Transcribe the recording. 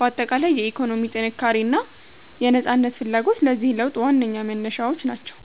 ባጠቃላይ፣ የኢኮኖሚ ጥንካሬና የነፃነት ፍላጎት ለዚህ ለውጥ ዋነኛ መነሻዎች ናቸው።